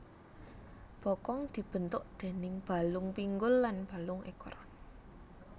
Bokong dibentuk déning balung pinggul lan balung ekor